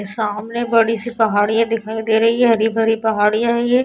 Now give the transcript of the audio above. ये सामने बड़ी से पहाड़ियां दिखाई दे रही है हरी-भरी पहाड़ियां है ये।